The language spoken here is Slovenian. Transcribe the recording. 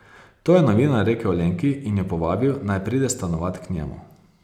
To je novinar rekel Lenki in jo povabil, naj pride stanovat k njemu.